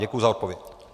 Děkuji za odpověď.